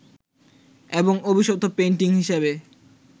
এবং অভিশপ্ত পেইন্টিং হিসেবে